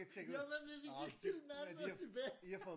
Jamen men vi gik til Malmø og tilbage!